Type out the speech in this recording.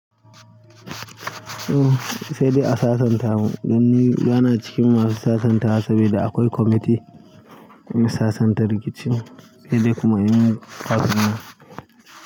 Oh, sai dai a sasanta mu. Dan ni bana cikin masu sasanta saboda akwai kwamiti mai sasanta rikici. Sai dai kuma in har tafiya.